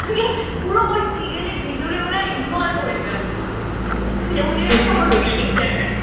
ওই serial এর ভেতরে মনে হয় involved হয়ে যায় উনি একটা কোন উনি একটা কোন ক্যারেক্টার